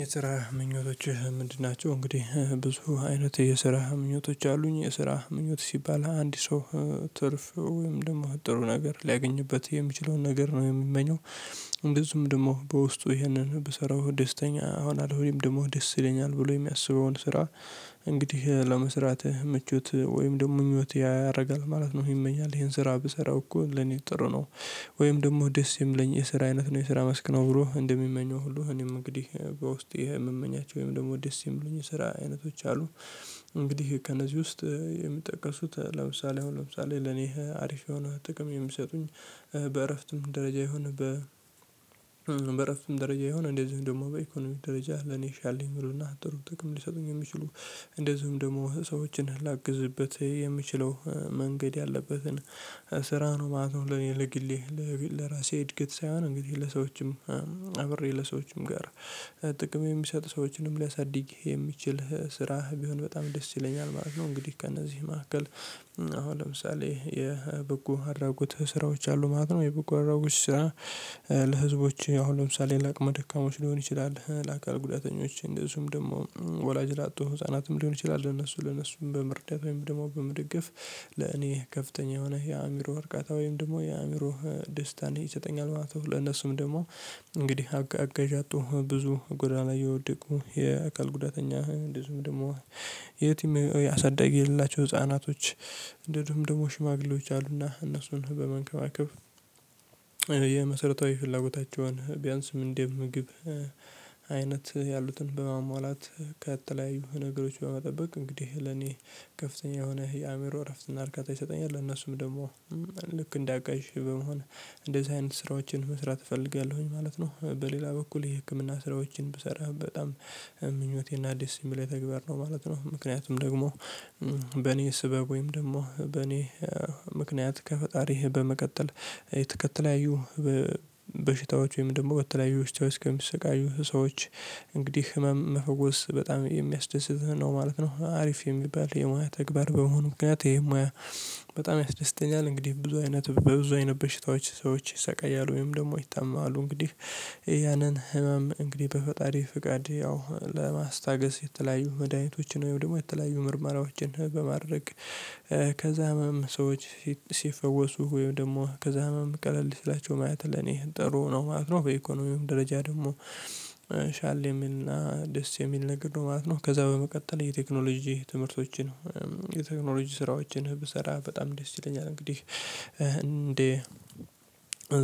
የስራ ምኞቶችህ ምንድን ናቸው? እንግዲህ ብዙ አይነት የስራ ምኞቶች አሉኝ የስራ ምኞት ሲባል አንድ ሰው ትርፍ ወይም ደግሞ ጥሩ ነገር ሊያገኝበት የሚችለውን ነገር ነው የሚመኘው። እንደዚሁም ደግሞ በውስጡ ይሄንን ብሰራው ደስተኛ እሆናለሁ ወይም ደግሞ ደስ ይለኛል ብሎ የሚያስበውን ስራ። እንግዲህ ለመስራትህ ምቹት ወይም ደግሞ ምኞት ያደርጋል ማለት ነው ይመኛል ይሄን ስራ ብሰራው እኮ ለኔ ጥሩ ነው። ወይም ደግሞ ደስ የሚልኝ የስራ አይነት ነው የስራ መስክ ነው ብሎ እንደሚመኘው ሁሉ እኔም እንግዲህ በውስጤ የምመኛቸው ወይም ደግሞ ደስ የሚሉኝ ስራ አይነቶች አሉ። እንግዲህ ከእነዚህ ውስጥ የሚጠቀሱት ለምሳሌ አሁን ለምሳሌ ለኔ አሪፍ የሆነ ጥቅም የምሰጡኝ። በእረፍትም ደረጃ ይሁን በእረፍትም ደረጃ ይሁን እንደዚህ እንደውም ደግሞ በኢኮኖሚ ደረጃ ለኔ ሻል የሚሉ እና ጥሩ ጥቅም ሊሰጡኝ የሚችሉ። እንደዚሁም ደግሞ ሰዎችን ላግዝበት የምችለው መንገድ ያለበትን ስራ ነው ማለት ነው። ለኔ ለግሌ ለራሴ እድገት ሳይሆን እንግዲህ ለሰዎችም አብሬ ለሰዎችም ጋር ጥቅም የሚሰጥ ሰዎችንም ሊያሳድግ የሚችል ስራህ ቢሆን በጣም ደስ ይለኛል ማለት ነው። እንግዲህ ከእነዚህ መካከል አሁን ለምሳሌ የበጎ አድራጎት ስራዎች አሉ ማለት ነው። የበጎ አድራጎት ስራ ለህዝቦች አሁን ለምሳሌ ላቅመ ደካማዎች ሊሆን ይችላል ለአካል ጉዳተኞች እንደዚሁም ደግሞ ወላጅ ላጥቶ ህፃናትም ሊሆን ይችላል ለነሱ ለነሱም በመርዳት ወይም ደግሞ በመደገፍ ለእኔ ከፍተኛ የሆነ የአእምሮ እርካታ ወይም ደግሞ የአእምሮ ደስታን ይሰጠኛል ማለት ነው። ለእነሱም ደግሞ እንግዲህ አጋዥ ያጡ ብዙ ጎዳና ላይ ላይ የወደቁ የአካል ጉዳተኛ ብዙም ደግሞ የትም ያሳዳጊ የሌላቸው ህፃናች እንዲሁም ድግሞ ሽማግሌዎች አሉና እነሱን በመንከባከብ የመሰረታዊ ፍላጎታቸውን ቢያንስም እንደ ምግብ አይነት ያሉትን በማሟላት ከተለያዩ ነገሮች በመጠበቅ እንግዲህ ለኔ ከፍተኛ የሆነ የአእምሮ እረፍት እና እርካታ ይሰጠኛል። ለእነሱም ደግሞ ልክ እንዳቀይሽ በመሆን እንደዚህ አይነት ስራዎችን መስራት እፈልጋለሁኝ ማለት ነው። በሌላ በኩል የህክምና ስራዎችን ብሰራ በጣም ምኞቴና አዲስ ሲሚል የተግባር ነው ማለት ነው። ምክንያቱም ደግሞ በኔ ስበብ ወይም ደግሞ በኔ ምክንያት ከፈጣሪህ በመቀጠል የተከተለያዩ በበሽታዎች ወይም ደግሞ በተለያዩ ውስጥ ከሚሰቃዩ ሰዎች እንግዲህ ህመም መፈወስ በጣም የሚያስደስትህ ነው ማለት ነው አሪፍ የሚባል የሞያ ተግባር በመሆኑ ምክንያት ይሄ ሙያ በጣም ያስደስተኛል። እንግዲህ ብዙ አይነት በብዙ አይነት በሽታዎች ሰዎች ይሰቃያሉ ወይም ደግሞ ይታመማሉ እንግዲህ ያንን ህመም እንግዲህ በፈጣሪ ፍቃድ ያው ለማስታገስ የተለያዩ መድሃኒቶችን ወይም ደግሞ የተለያዩ ምርመራዎችን በማድረግ ከዛህመም ሰዎች ሲፈወሱ ወይም ደግሞ ከዛህመም ቀለል ሲላቸው ማየት ለኔ ጥሩ ነው ማለት ነው። በኢኮኖሚውም ደረጃ ደግሞ ሻል የሚል ናእ ደስ የሚል ነገር ነው ማለት ነው። ከዛ በመቀጠል የቴክኖሎጂ ትምህርቶችን የቴክኖሎጂ ስራዎችን ብሰራ በጣም ደስ ይለኛል። እንግዲህ እንደ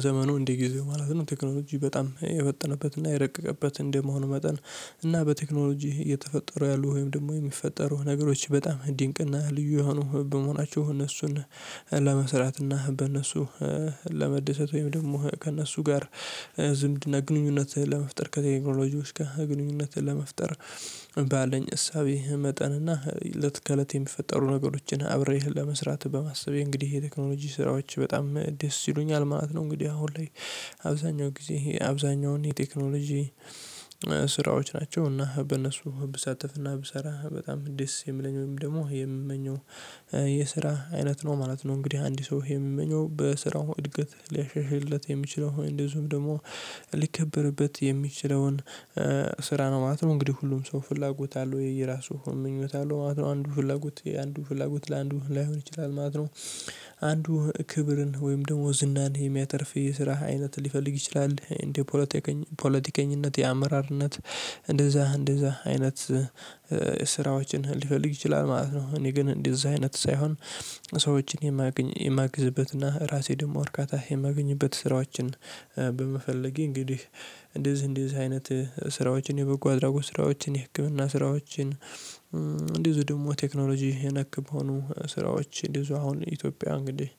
ዘመኑ እንደ ጊዜው ማለት ነው ቴክኖሎጂ በጣም የፈጠነበት እና የረቀቀበት እንደመሆን መጠን እና በቴክኖሎጂ እየተፈጠሩ ያሉ ወይም ደግሞ የሚፈጠሩ ነገሮች በጣም ድንቅ እና ልዩ የሆኑ በመሆናቸው እነሱን ለመስራት እና በእነሱ ለመደሰት ወይም ደግሞ ከእነሱ ጋር ዝምድና ግንኙነትን ለመፍጠር ከተኛ ኢክኖሎጂዎች ጋር ግንኙነትን ለመፍጠር ባለኝ እሳቤ መጠን እና እለት ከእለት የሚፈጠሩ ነገሮችን አብሬ ለመስራት በማሰቤ እንግዲህ ይሄ የቴክኖሎጂ ስራዎች በጣም ደስ ይሉኛል ማለት ነው። እንግዲህ አሁን ላይ አብዛኛው ጊዜ አብዛኛውን የቴክኖሎጂ ስራዎች ናቸው እና በእነሱ ብሳተፍ አሰና ብሰራ በጣም ደስ የሚለኝ ወይም ደግሞ የምመኘው የስራ አይነት ነው ማለት ነው። እንግዲህ አንድ ሰው የሚመኘው በስራው እድገት ሊያሻሽልለት የሚችለው እንደዚሁም ደግሞ ሊከበርበት የሚችለውን ስራ ነው ማለት ነው። እንግዲህ ሁሉም ሰው ፍላጎት አለው የየራሱ ምኞት አለው ማለት ነው አንዱ ፍላጎት አንዱ ፍላጎት ለአንዱ ላይሆን ይችላል ማለት ነው። አንዱ ክብርን ወይም ደግሞ ዝናን የሚያተርፍ የስራ አይነት ሊፈልግ ይችላል እንደ ፖለቲከኛ ፖለቲከኝነት የአመራርነት እንደዛ እንደዛ አይነት ስራዎችን ሊፈልግ ይችላል ማለት ነው። እኔ ግን እንደዚህ አይነት ሳይሆን ሰዎችን የማግዝበት እና ራሴ ደግሞ እርካታ የማግኝበት ስራዎችን በመፈለጌ እንግዲህ እንደዚህ እንደዚህ አይነት ስራዎችን የበጎ አድራጎት ስራዎችን የህክምና ስራዎችን እንዲህ ደግሞ ቴክኖሎጂ የነክ በሆኑ ስራዎች እንዲዚው አሁን ኢትዮጵያ እንግዲህ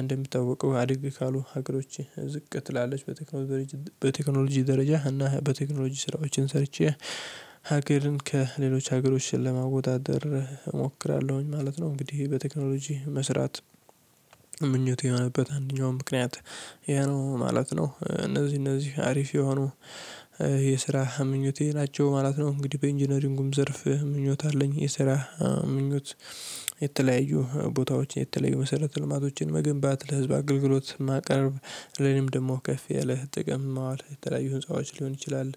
እንደም ሚትጠወቀው አድግ ካሉ ሀገሮች ዝቅ ትላለች በቴክኖሎጂ ደረጃ እና በቴክኖሎጂ ስራዎችን ሰርቼ ሀገርን ከሌሎች ሀገሮች ለማወዳደር እሞክራለሁኝ ማለት ነው። እንግዲህ በቴክኖሎጂ መስራት ምኞቴ የሆነበት አንደኛው ምክንያት ይሄ ነው ማለት ነው። እነዚህ እነዚህ አሪፍ የሆኑ የስራ ምኞቴ ናቸው ማለት ነው። እንግዲህ በኢንጂነሪንጉም ዘርፍ ምኞት አለኝ የሰራ ምኞት የተለያዩ ቦታዎችን የተለያዩ መሰረተ ልማቶችን መገንባት ለህዝብ አገልግሎት ማቅረብ ለኔም ደግሞ ከፍ የለ ጥቅም ማዋል የተለያዩ ህንፃዎች ሊሆን ይችላል